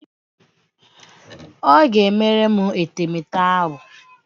Ọ ga-emere m etemeete ahụ.